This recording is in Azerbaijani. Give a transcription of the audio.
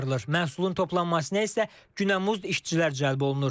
Məhsulun toplanmasına isə günəmuzd işçilər cəlb olunur.